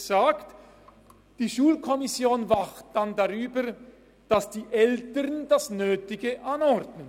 VSG besagt, dass die Schulkommission dann darüber wacht, dass die Eltern das Nötige anordnen.